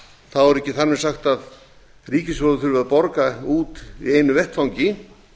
þá er ekki þar með sagt að ríkissjóður þurfi að borga út í einu vetfangi